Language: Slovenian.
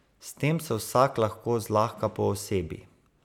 S tem se vsak lahko zlahka poosebi.